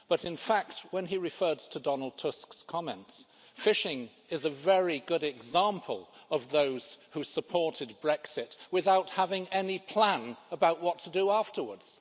In fact, when he referred to Donald Tusk's comments, fishing is a very good example of those who supported Brexit without having any plan about what to do afterwards.